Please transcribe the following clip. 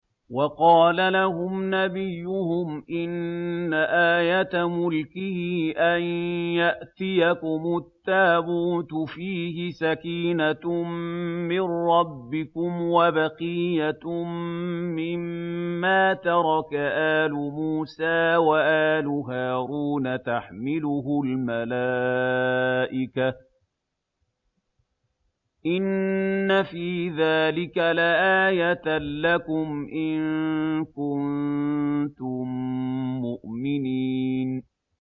وَقَالَ لَهُمْ نَبِيُّهُمْ إِنَّ آيَةَ مُلْكِهِ أَن يَأْتِيَكُمُ التَّابُوتُ فِيهِ سَكِينَةٌ مِّن رَّبِّكُمْ وَبَقِيَّةٌ مِّمَّا تَرَكَ آلُ مُوسَىٰ وَآلُ هَارُونَ تَحْمِلُهُ الْمَلَائِكَةُ ۚ إِنَّ فِي ذَٰلِكَ لَآيَةً لَّكُمْ إِن كُنتُم مُّؤْمِنِينَ